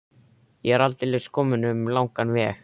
Ég er aldeilis kominn um langan veg.